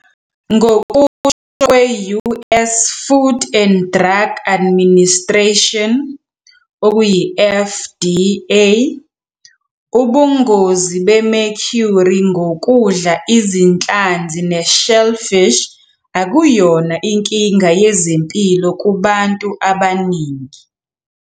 Ngokusho kwe-US Food and Drug Administration, okuyi-FDA, ubungozi be-mercury ngokudla izinhlanzi ne-shellfish akuyona inkinga yezempilo kubantu abaningi.